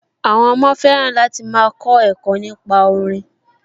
Àwọn ọmọ fẹ́ràn láti máa kọ ẹ̀kọ́ nípa orin